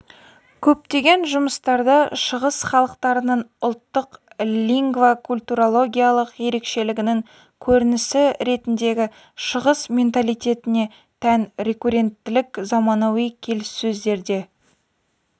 көптеген жұмыстарда шығыс халықтарының ұлттық лингвокультурологиялық ерекшелігінің көрінісі ретіндегі шығыс менталитетіне тән рекуренттілік заманауи келіссөздерде